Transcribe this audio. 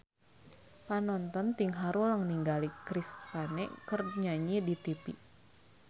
Panonton ting haruleng ningali Chris Pane keur nyanyi di tipi